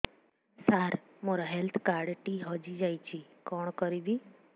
ସାର ମୋର health card ଟି ହଜି ଯାଇଛି କଣ କରିବି